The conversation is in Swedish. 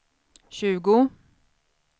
tjugo